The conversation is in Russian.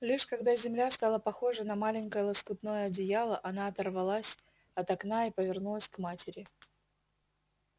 лишь когда земля стала похожа на маленькое лоскутное одеяло она оторвалась от окна и повернулась к матери